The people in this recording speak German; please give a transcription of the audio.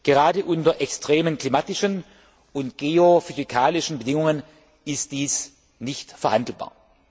Gerade unter extremen klimatischen und geophysikalischen Bedingungen ist dies nicht verhandelbar.